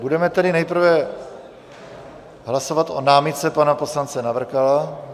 Budeme tedy nejprve hlasovat o námitce pana poslance Navrkala.